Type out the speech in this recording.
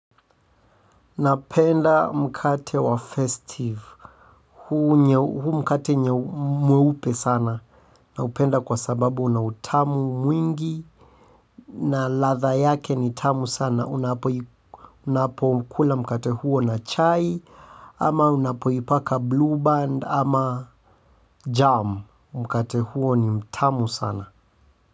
Napenda mkate wa festive, huu mkate mweupe sana na upenda kwa sababu una utamu mwingi na latha yake ni tamu sana unapo unapo kula mkate huo na chai ama unapo ipaka blue band ama jam mkate huo ni mtamu sana.